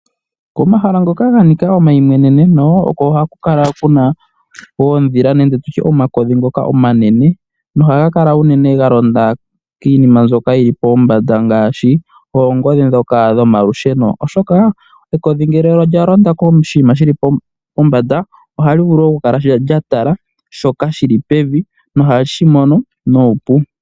Komahala ngoka ga nika omaimweneneno, oko ha ku kala kuna oodhila nenge tutye omakodhi ngoka omanene nohaga kala unene ga londa kiinima mbyoka yi li pombanda ngaashi oongodhi dhoka dhomalusheno. Oshoka ekodhi ngele olya londa poshinima pombanda ohali vulu okukala lya tala shoka shili pevi nohashi mono nuupu.